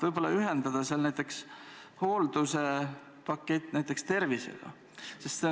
Võib-olla ühendada näiteks hoolduspakett tervisega?